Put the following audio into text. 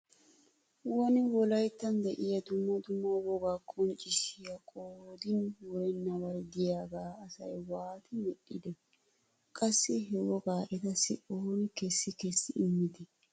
Woni wolayttan diya dumma dumma wogaa qonccissiya qoodin wurennabay diyagaa asay waati medhdhide? Qassi he woga etassi ooni kessi kessi immide?